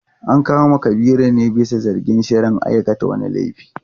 An kama Kabiru ne bisa zargin shirin aikata wani laifi.